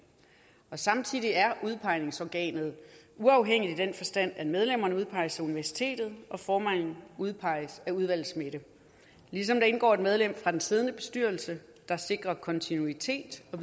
samtidig er udpegningsorganet uafhængigt i den forstand at medlemmerne udpeges af universitetet og formanden udpeges af udvalgets midte ligesom der indgår et medlem fra den siddende bestyrelse der sikrer kontinuitet og